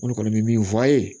N kɔni bɛ min fɔ a ye